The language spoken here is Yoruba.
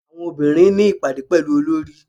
Àwọn obìnrin ní ìpàdé pẹ̀lú Olorì.